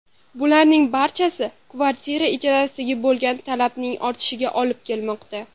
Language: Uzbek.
Bularning barchasi kvartira ijarasiga bo‘lgan talabning ortishiga olib kelmoqda.